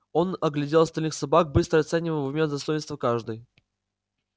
он оглядел остальных собак быстро оценивая в уме достоинства каждой